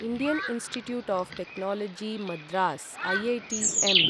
Indian institute of technology Madras IITM